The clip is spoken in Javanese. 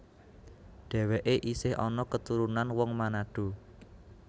Dhèwèké isih ana keturunan wong Manado